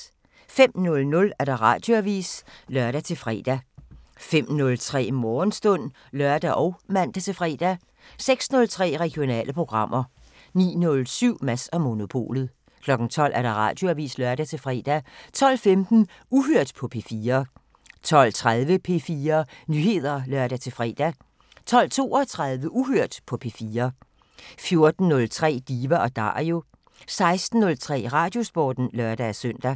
05:00: Radioavisen (lør-fre) 05:03: Morgenstund (lør og man-fre) 06:03: Regionale programmer 09:07: Mads & Monopolet 12:00: Radioavisen (lør-fre) 12:15: Uhørt på P4 12:30: P4 Nyheder (lør-fre) 12:32: Uhørt på P4 14:03: Diva & Dario 16:03: Radiosporten (lør-søn)